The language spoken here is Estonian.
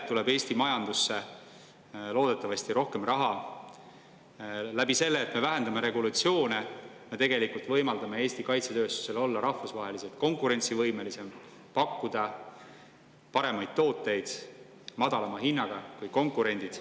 Eesti majandusse tuleb loodetavasti rohkem raha selle kaudu, et me vähendame regulatsiooni ja tegelikult võimaldame Eesti kaitsetööstusel olla rahvusvaheliselt konkurentsivõimelisem: pakkuda paremaid tooteid madalama hinnaga kui konkurendid.